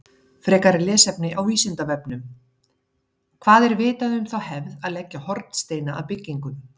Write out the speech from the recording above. Frekara lesefni á Vísindavefnum: Hvað er vitað um þá hefð að leggja hornsteina að byggingum?